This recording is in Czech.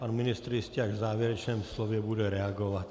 Pan ministr jistě až v závěrečném slově bude reagovat.